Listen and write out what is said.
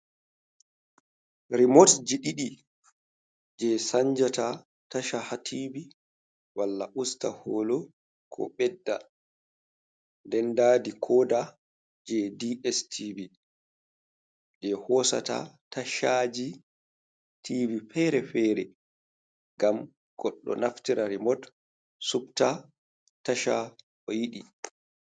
Rimotji ɗiɗi je sanjata tasha ha tivi malla usta holo ko ɓedda, nden nda dikoda je DS tivi je hosata tashaji tivi feere-feere ngam goɗɗo naftira rimot supta tasha o yiɗi.